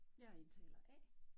Jeg er taler A